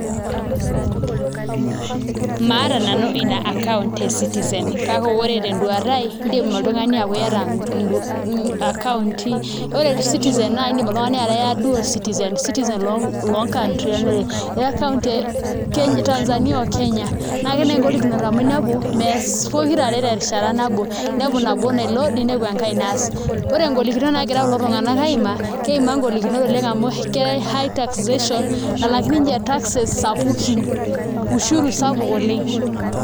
Maata nanu ina account e eCitizen kake ore tenduata aai iindim oltung'ani aaku iata akaunti, ore eCitizen idim oltung'ani ataa dual citizen citizen loo country are iata account e Tanzania o Kenya. Ketii naai ngolikinot amu inepu mees pokirare terishata nabo inepu nabo naiload ninepu enkai naany eeas, ore ngolikinot naagira kulo tung'anak aimaa, keimaa ngolikinot oleng' amu ke high taxation nalak ninje taxes sapukin ushuru sapuk oleng'.